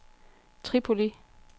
Tripoli